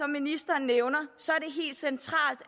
ministeren nævner